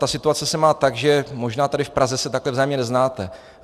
Ta situace se má tak, že možná tady v Praze se takhle vzájemně neznáte.